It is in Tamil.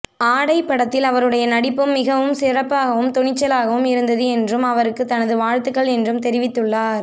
ஆடை படத்தில் அவருடைய நடிப்பு மிகவும் சிறப்பாகவும் துணிச்சலாகவும் இருந்தது என்றும் அவருக்கு தனது வாழ்த்துக்கள் என்றும் தெரிவித்துள்ளார்